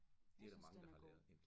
Jeg synes den er god